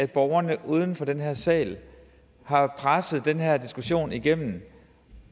borgerne uden for den her sal har presset den her diskussion igennem